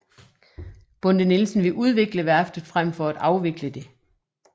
Bonde Nielsen vil udvikle værftet frem for at afvikle det